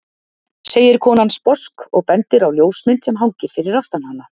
segir konan sposk og bendir á ljósmynd sem hangir fyrir aftan hana.